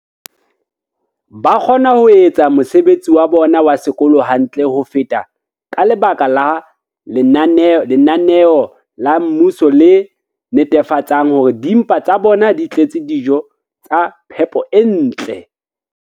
ba kgona ho etsa mosebetsi wa bona wa sekolo hantle ho feta ka lebaka la lenaneo la mmuso le netefatsang hore dimpa tsa bona di tletse dijo tsa phepo e ntle.